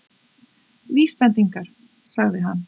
Vísbendingar- sagði hann.